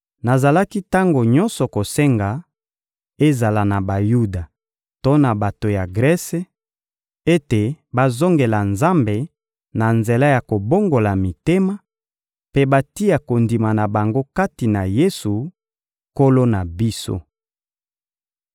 Nazalaki tango nyonso kosenga, ezala na Bayuda to na bato ya Grese, ete bazongela Nzambe na nzela ya kobongola mitema, mpe batia kondima na bango kati na Yesu, Nkolo na biso.